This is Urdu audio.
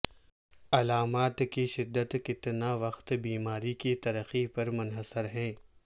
علامات کی شدت کتنا وقت بیماری کی ترقی پر منحصر ہے